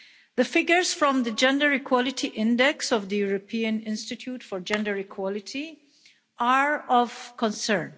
The figures from the Gender Equality Index of the European Institute for Gender Equality are of concern.